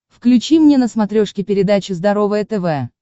включи мне на смотрешке передачу здоровое тв